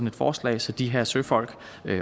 et forslag så de her søfolk